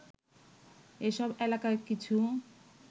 এসব এলাকার কিছু